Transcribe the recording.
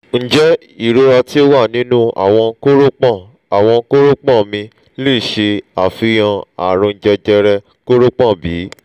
njẹ irora ti o wa ninu awọn koropon awọn koropon mi le ṣe afihan arùn jẹjẹrẹ koropon bi?